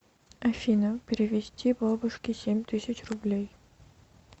афина перевести бабушке семь тысяч рублей